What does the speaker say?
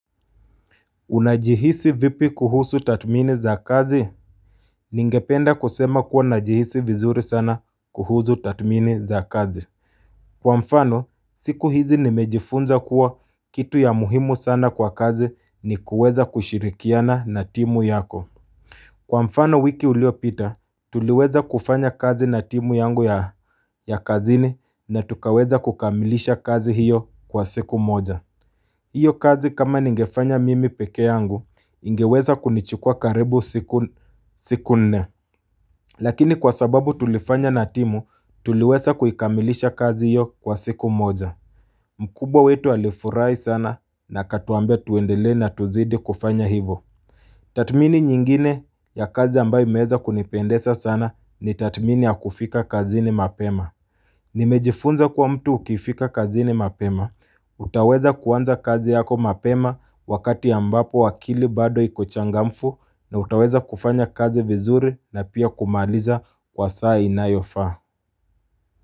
Unajihisi vipi kuhusu tathmini za kazi? Ningependa kusema kuwa, najihisi vizuri sana kuhusu tathmini za kazi Kwa mfano siku hizi nimejifunza kuwa kitu ya muhimu sana kwa kazi ni kuweza kushirikiana na timu yako Kwa mfano wiki uliopita tuliweza kufanya kazi na timu yangu ya kazini na tukaweza kukamilisha kazi hiyo kwa siku moja hiyo kazi kama ningefanya mimi peke yangu, ingeweza kunichukua karibu siku nne. Lakini kwa sababu tulifanya na timu, tuliweza kuikamilisha kazi hiyo kwa siku moja. Mkubwa wetu alifurahi sana na akatuambia tuendelee na tuzidi kufanya hivo. Tathmini nyingine ya kazi ambayo imeweza kunipendeza sana ni tathmini ya kufika kazini mapema. Nimejifunza kuwa mtu ukifika kazini mapema utaweza kuanza kazi yako mapema wakati ambapo akili bado iko changamfu na utaweza kufanya kazi vizuri na pia kumaliza kwa saa inayofaa.